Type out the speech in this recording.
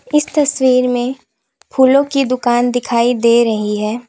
इस तस्वीर में फूलों की दुकान दिखाई दे रही है।